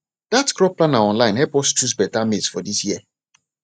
that crop planner online help us choose better maize for this year